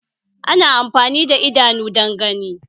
Ana amfani da idanu don gani